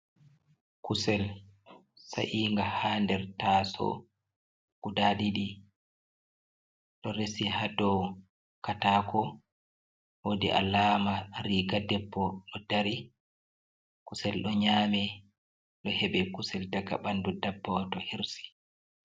Kusel sa’inga ha nder taso guda didi do resi ha dow katako wodi alama riga debbo ɗo dari kusel ɗo nyami ɗo heba kusel daga ɓandu dabbawa to hirsi.